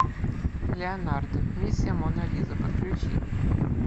леонардо миссия мона лиза подключи